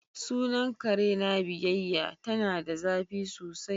Sunan kare na biyayya ,ta na da zafi sosai.